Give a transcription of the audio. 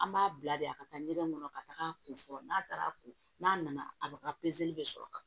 An b'a bila de a ka taa ɲɛgɛn kɔnɔ ka taga a kun fɔlɔ n'a taara ko n'a nana a ka bɛ sɔrɔ ka